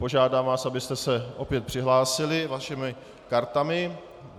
Požádám vás, abyste se opět přihlásili svými kartami.